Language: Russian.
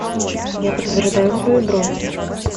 я подтверждаю свою бронь